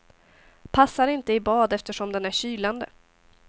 Passar inte i bad eftersom den är kylande.